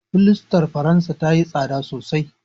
Fulastar faransa tayi tsada sosai.